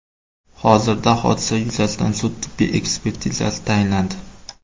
Hozirda hodisa yuzasidan sud-tibbiy ekspertizasi tayinlandi.